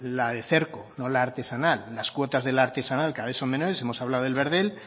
la de cerco no la artesanal las cuotas de la artesanal cada vez son menores hemos hablado del verdel